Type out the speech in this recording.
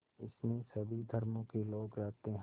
इसमें सभी धर्मों के लोग रहते हैं